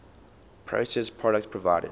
processed products provided